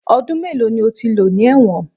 Ọdún mélòó ni o ti lò ní ẹ̀wọ̀n?